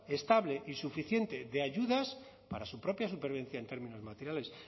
estable y suficiente de ayudas para su propia supervivencia en términos materiales